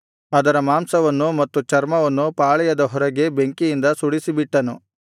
ಅದರ ಮಾಂಸವನ್ನು ಮತ್ತು ಚರ್ಮವನ್ನು ಪಾಳೆಯದ ಹೊರಗೆ ಬೆಂಕಿಯಿಂದ ಸುಡಿಸಿಬಿಟ್ಟನು